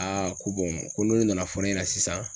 Aa ko ko n'u nana fɔ ne ɲɛna sisan.